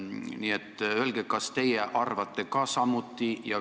Nii et öelge, kas teie arvate samuti.